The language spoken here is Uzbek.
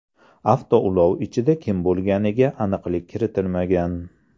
Avtoulov ichida kim bo‘lganiga aniqlik kiritilmagan.